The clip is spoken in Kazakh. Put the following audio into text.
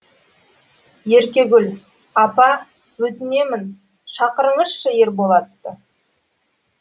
еркегүл апа өтінемін шақырыңызшы ерболатты